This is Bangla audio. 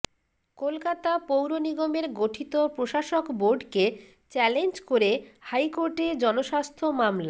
কলকাতা পৌর নিগমের গঠিত প্রশাসক বোর্ডকে চ্যালেঞ্জ করে হাইকোর্টে জনস্বার্থ মামলা